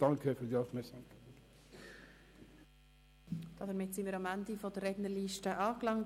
Damit sind wir am Ende der Rednerliste angelangt.